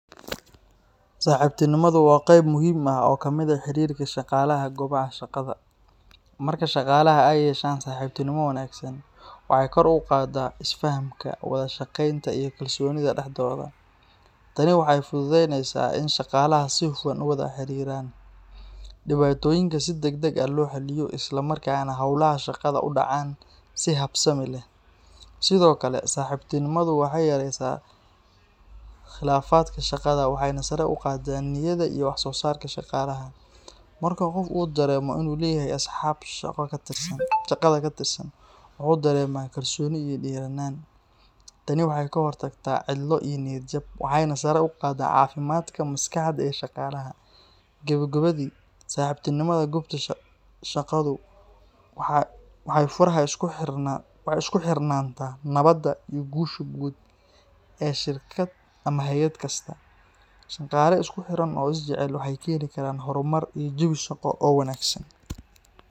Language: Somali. Saaxiibtinimadu waa qayb muhiim ah oo ka mid ah xiriirka shaqaalaha goobaha shaqada. Marka shaqaalaha ay yeeshaan saaxiibtinimo wanaagsan, waxay kor u qaadaa isfahamka, wada-shaqeynta, iyo kalsoonida dhexdooda. Tani waxay fududeyneysaa in shaqaalaha si hufan u wada xiriiraan, dhibaatooyinka si degdeg ah loo xalliyo, isla markaana hawlaha shaqada u dhacaan si habsami leh. Sidoo kale, saaxiibtinimadu waxay yaraysaa khilaafaadka shaqada waxayna sare u qaaddaa niyadda iyo wax-soosaarka shaqaalaha. Marka qof uu dareemo inuu leeyahay asxaab shaqada ka tirsan, wuxuu dareemaa kalsooni iyo dhiiranaan. Tani waxay ka hortagtaa cidlo iyo niyad-jab, waxayna sare u qaaddaa caafimaadka maskaxda ee shaqaalaha. Gebogebadii, saaxiibtinimada goobta shaqadu waa furaha isku xirnaanta, nabadda, iyo guusha guud ee shirkad ama hay’ad kasta. Shaqaale isku xiran oo is jecel waxay keeni karaan horumar iyo jawi shaqo oo wanaagsan.